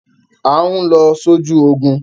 À ń lọ sójú ogun!